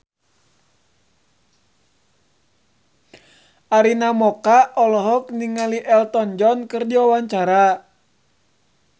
Arina Mocca olohok ningali Elton John keur diwawancara